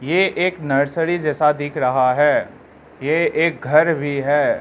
ये एक नर्सरी जैसा दिख रहा है ये एक घर भी है।